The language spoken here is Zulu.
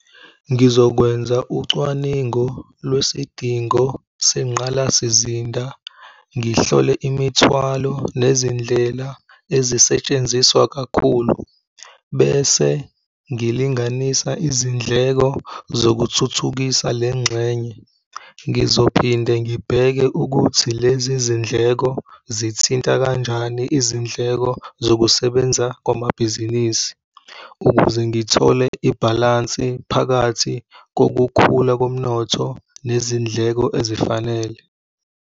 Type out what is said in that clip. Ngizokwenza ucwaningo lwesidingo senqalasizinda, ngihlole imithwalo nezindlela ezisetshenziswa kakhulu bese ngilinganisa izindleko zokuthuthukisa le ngxenye. Ngizophinde ngibheke ukuthi lezi zindleko zithinta kanjani izindleko zokusebenza kwamabhizinisi ukuze ngithole ibhalansi phakathi kokukhula komnotho nezindleko ezifanele.